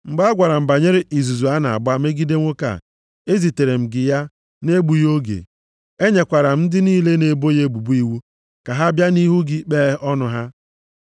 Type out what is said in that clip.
Mgbe a gwara m banyere izuzu a na-agba megide nwoke a, ezitere m gị ya nʼegbughị oge. Enyekwara m ndị niile na-ebo ya ebubo iwu, ka ha bịa nʼihu gị kpee ọnụ ha.